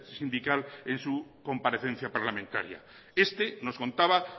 sindical en su comparecencia parlamentaria este nos contaba